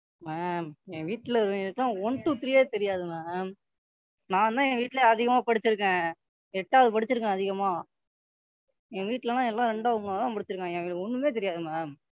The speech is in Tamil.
Ma'am என் வீட்டுல உள்ளவங்களுக்கு எல்லாம் One two three யே தெரியாது Ma'am. நான்தான் என் வீட்டுலேயே அதிகமா படிச்சுருக்கேன். எட்டாவது படிச்சுருக்கன் அதிகமா என் வீட்டுல எல்லாம் ரெண்டாவது மூணாவது தான் படிச்சுருக்காங்க அவங்களுக்கு ஒண்ணுமே தெரியாது Ma'am,